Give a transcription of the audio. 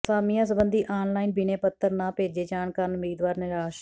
ਅਸਾਮੀਆਂ ਸਬੰਧੀ online ਬਿਨੈ ਪੱਤਰ ਨਾ ਭੇਜੇ ਜਾਣ ਕਾਰਨ ਉਮੀਦਵਾਰ ਨਿਰਾਸ਼